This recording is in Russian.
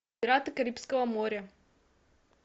пираты карибского моря